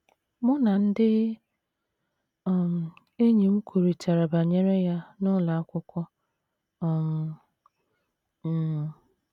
Mụ na ndị um enyi m kwurịtara banyere ya n’ụlọ akwụkwọ um. um